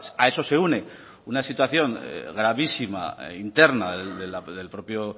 a eso se une una situación gravísima interna del propio